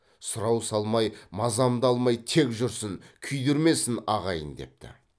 сұрау салмай мазамды алмай тек жүрсін күйдірмесін ағайын депті